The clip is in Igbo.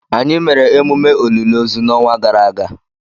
Anyị mere emume olili ozu n' ọnwa gara aga